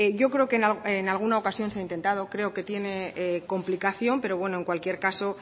yo creo que en alguna ocasión se ha intentado creo que tiene complicación pero bueno en cualquier caso